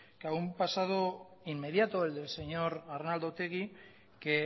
claro un pasado inmediato el del señor arnaldo otegi que